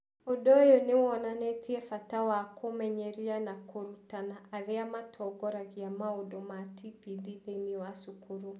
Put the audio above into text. Ũndũ ũyũ nĩ wonanĩtie bata wa kũmenyeria na kũrutana arĩa matongoragia maũndũ ma TPD thĩinĩ wa cukuru.